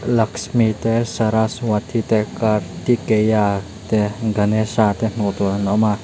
laksmi te saraswati te kartikeya te ganesha te hmuh tur hi an awm a.